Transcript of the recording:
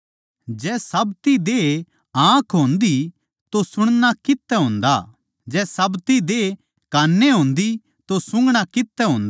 जै साब्ती देह आँख होन्दी तो सुणना कित्त तै होंदा जै साब्ती देह कान ए होंदी तो सूंघणा कित्त तै होंदा